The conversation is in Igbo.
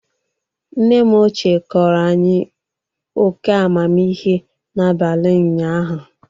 Nne m ochie kọọrọ anyị óké amamihe n'abalị ụnyaahụ.